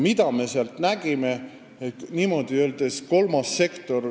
Mida me sealt näeme?